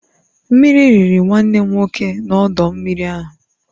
Mmiri riri nwanne m nwoke n'ọdọ mmiri ahụ